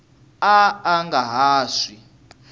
a a nga ha swi